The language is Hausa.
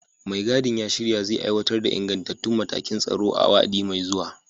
Mai gadin ya shirya zai aiwatar da ingantattun matakan tsaro a wa'adi mai zuwa.